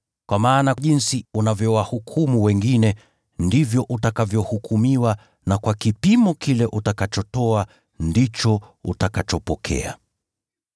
Kwa maana jinsi unavyowahukumu wengine, ndivyo utakavyohukumiwa, na kwa kipimo kile upimiacho, ndicho utakachopimiwa.